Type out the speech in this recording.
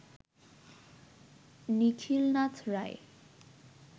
Nikhilnath Roy